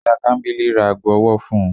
Iya Kambili ra aago ọwọ fún u